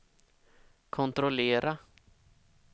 kontrollera